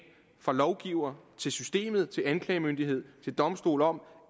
fra lovgiver til systemet og til anklagemyndighed og domstol om